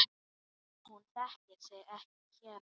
Hún þekkir sig ekki hér.